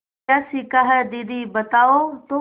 क्या सीखा है दीदी बताओ तो